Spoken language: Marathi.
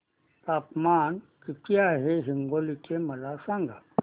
तापमान किती आहे हिंगोली चे मला सांगा